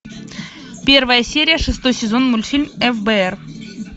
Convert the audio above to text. первая серия шестой сезон мультфильм фбр